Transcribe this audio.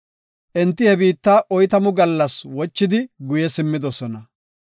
Enti he biitta oytamu gallas wochidi guye simmidosona.